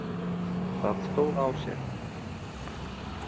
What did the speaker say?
Það stóð á sér.